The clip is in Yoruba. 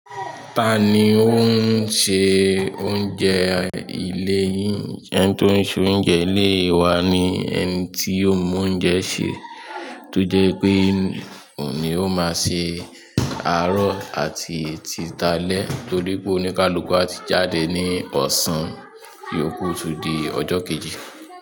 Ta ni ó ń se oúnjẹ ilé yìn? Ẹni tí ó ń ṣe oúnjẹ ilé wa ni ẹni tí ó mọ oúnjẹ se, to sè pé òun ni ó máa ṣe àárọ̀ àti tí talẹ́, torí pé oníkálukú á ti jáde ní ọ̀sán iyókù tún di ọjọ kejì.